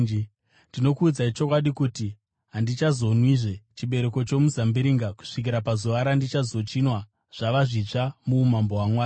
Ndinokuudzai chokwadi kuti handichazonwizve chibereko chomuzambiringa kusvikira pazuva randichazochinwa zvava zvitsva muumambo hwaMwari.”